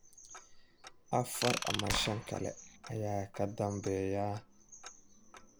Afar ama shan kale ayaa ka dambeeya.